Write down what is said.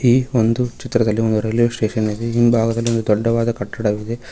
ಈ ಒಂದು ಚಿತ್ರದಲ್ಲಿ ಒಂದು ರೈಲ್ವೆ ಸ್ಟೇಷನ್ ಇದೆ ಹಿಂಭಾಗದಲ್ಲಿ ಒಂದು ದೊಡ್ಡವಾದ ಕಟ್ಟಡವಿದೆ.